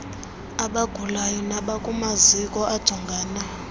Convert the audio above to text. abagulayo nabakumaziko ajongana